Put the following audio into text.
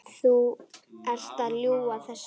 Þú ert að ljúga þessu!